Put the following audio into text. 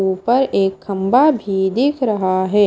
ऊपर एक खंभा भी दिख रहा है।